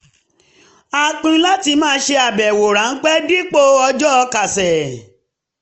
a pinnu láti máa ṣe àbẹ̀wò ráńpẹ́ dipo ọjọ́ kásẹ̀